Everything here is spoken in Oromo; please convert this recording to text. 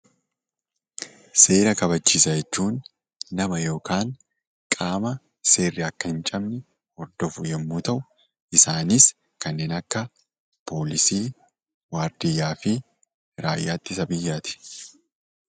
Seera kabachiisaa jechuun nama yookaan qaama seerri akka hin cabne hordofu yommuu ta'u, isaanis kanneen akka Poolisii, waardiyyaa fi raayyaa ittisa biyyaa ti.